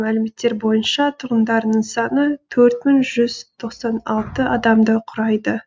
мәліметтер бойынша тұрғындарының саны төрт мың жүз тоқсан алты адамды құрайды